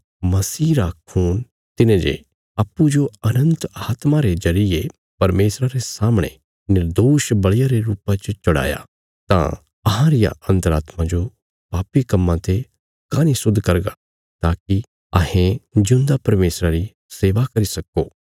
तां मसीह रा खून तिने जे अप्पूँजो अनन्त आत्मा रे जरिये परमेशरा रे सामणे निर्दोष बल़िया रे रुपा च चढ़ाया तां अहां रिया अन्तरात्मा जो पापी कम्मां ते काँह नीं शुद्ध करगा ताकि अहें जिऊंदा परमेशरा री सेवा करी सक्को